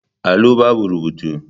Allo babu rubutu.